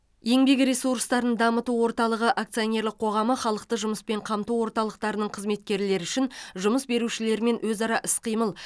еңбек ресурстарын дамыту орталығы акционерлік қоғамы халықты жұмыспен қамту орталықтарының қызметкерлері үшін жұмыс берушілермен өзара іс қимыл